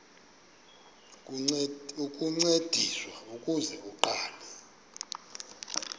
ukuncediswa ukuze aqale